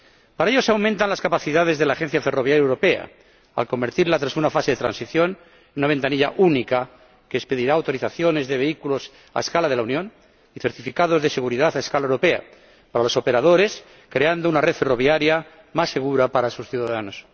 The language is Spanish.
Para ello, se aumentan las capacidades de la Agencia Ferroviaria Europea, al convertirla, tras una fase de transición, en una ventanilla única que expedirá autorizaciones de vehículos a escala de la Unión y certificados de seguridad a escala europea para los operadores, creando una red ferroviaria más segura para sus ciudadanos.